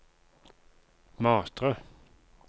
Matre